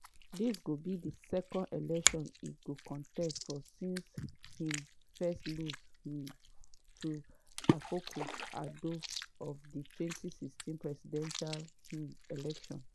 dis go be di second election e go contest for since im first lose um to akufo addo for di 2016 presidential um election.